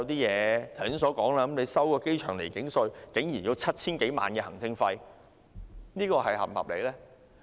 剛才提到的處理機場離境稅竟然要 7,000 多萬元行政費，這是否合理呢？